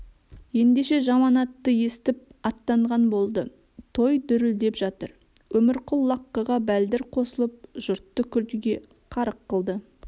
ендеше жаманатты естіп аттанған болды той дүрілдеп жатыр өмірқұл лаққыға бәлдір қосылып жұртты күлкіге қарық қылды